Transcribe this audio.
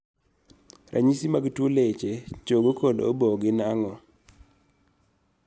. Ranyisi mag tuo leche, chogo kod obo gin ang'o?